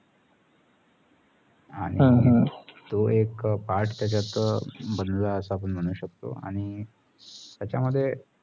आणि तो एक part त्याचा बदलू असा म्हणू शकतो